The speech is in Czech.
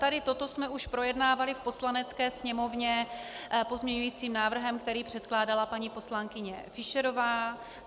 Tady toto jsme už projednávali v Poslanecké sněmovně pozměňujícím návrhem, který předkládala paní poslankyně Fischerová.